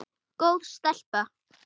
Góð stelpa.